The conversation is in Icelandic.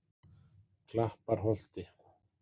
Klapparholti